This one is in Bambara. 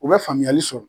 U bɛ faamuyali sɔrɔ